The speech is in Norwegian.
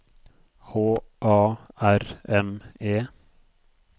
H A R M E